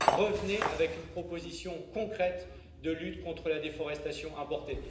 Revenez avec une proposition concrète de lutte contre la déforestation importée.